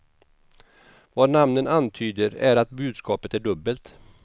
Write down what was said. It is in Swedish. Vad namnen antyder är att budskapet är dubbelt.